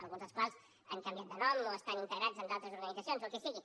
alguns dels quals han canviat de nom o estan integrats en d’altres organitzacions o el que sigui